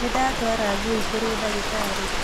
Nĩndatwara ngui kũrĩ ndagĩtarĩ